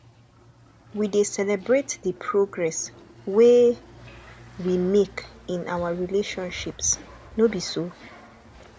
we dey celebrate the progress wey we make in our relationships no be so